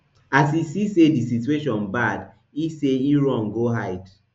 as e see say di situation bad e say e run go hide